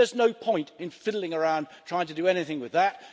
There's no point in fiddling around trying to do anything with that.